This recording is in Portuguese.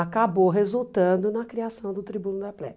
acabou resultando na criação do Tribuno da Plebe.